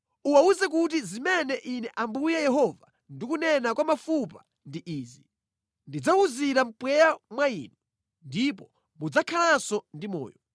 Uwawuze kuti zimene Ine Ambuye Yehova ndikunena kwa mafupa ndi izi: Ndidzawuzira mpweya mwa inu, ndipo mudzakhalanso ndi moyo.